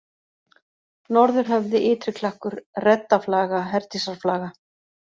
Norðurhöfði, Ytri-Klakkur, Reddaflaga, Herdísarflaga